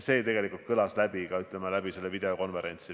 See tegelikult jäi kõlama kogu sellel videokonverentsil.